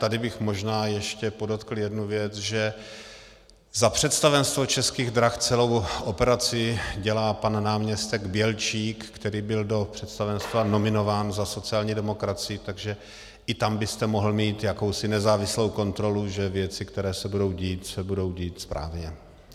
Tady bych možná ještě podotkl jednu věc, že za představenstvo Českých drah celou operaci dělá pan náměstek Bělčík, který byl do představenstva nominován za sociální demokracii, takže i tam byste mohl mít jakousi nezávislou kontrolu, že věci, které se budou dít, se budou dít správně.